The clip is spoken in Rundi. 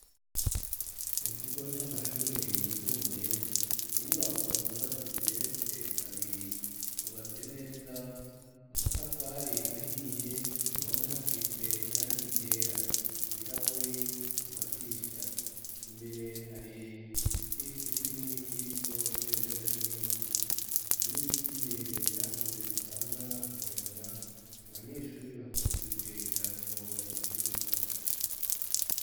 Mu kigo c'amashure yisumbuye ni inyubako zubatse ziberetse kabiri. Zubatse neza amatafari ahiye ku ruhome hasize irangi ryera ibirahuri ku madirisha imbere hari igiti kinini kiriko ibendera ry'igihugu hari n'ibiti birebire vyakuze bitanga umuyaga. Abanyeshuri bakikurije idarapo bari mu kibuga.